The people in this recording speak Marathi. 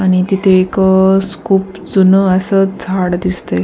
आणि तिथे एक खूप जून असं झाड दिसतंय.